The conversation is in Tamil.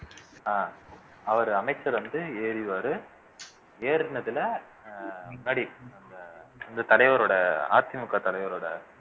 அஹ் அவர் அமைச்சர் வந்து ஏறுவாரு ஏறுனதுல அஹ் படி அந்த இந்த தலைவரோட அதிமுக தலைவரோட